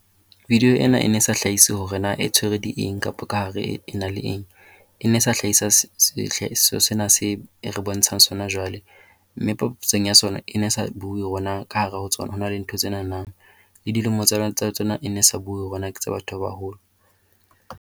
Video ena e ne sa hlahise hore na e tshwere di eng kapa kahare e na le eng. E ne e sa hlahisa sehlahiswa sena seo e re bontshang sona jwale mme papatsong ya sona e ne sa bue hore na ka hare ho tsona ho na le ntho tsenana. Le dilemo tsa tsona e ne e sa buwe hore na ke tsa batho ba baholo.